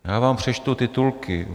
Já vám přečtu titulky: